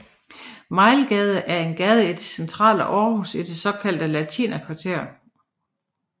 Mejlgade er en gade i det centrale Aarhus i det såkaldte latinerkvarter